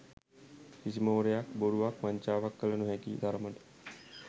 කිසිම හොරයක් බොරුවක් වංචාවක් කළ නොහැකි තරමට